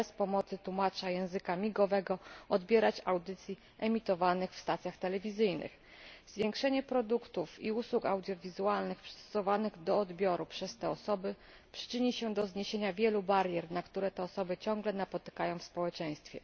bez pomocy tłumacza języka migowego, odbierać audycji emitowanych przez stacje telewizyjne. Zwiększenie liczby produktów i usług audiowizualnych przystosowanych do odbioru przez te osoby przyczyni się do zniesienia wielu barier, które ciągle napotykają one w społeczeństwie.